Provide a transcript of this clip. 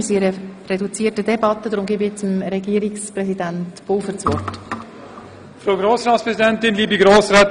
Da wir eine reduzierte Debatte führen, hat nun Herr Regierungspräsident Pulver das Wort.